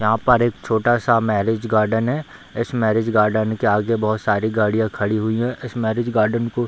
यहाँ पर एक छोटा सा मैरिज गार्डन है इस मैरिज गार्डन के आगे बहुत सारी गाड़ियाँ खड़ी हुई हैं। इस मैरिज गार्डन को --